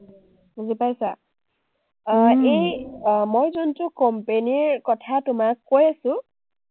বুজি পাইছা? আহ এই মই যোনটো company ৰ কথা তোমাক কৈ আছোঁ,